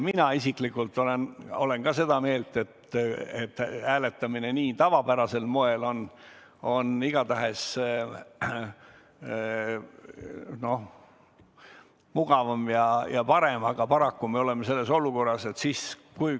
Mina isiklikult olen ka seda meelt, et hääletamine tavapärasel moel on igatahes mugavam ja parem, aga paraku me oleme selles olukorras.